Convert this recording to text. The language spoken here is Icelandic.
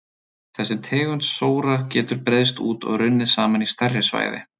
Þessi tegund sóra getur breiðst út og runnið saman í stærri svæði.